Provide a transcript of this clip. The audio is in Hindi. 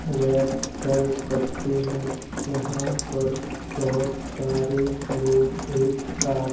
रेस्ट कर सकते हैं यहां पर बहोत सारे लोग एक साथ--